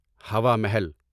ہوا محل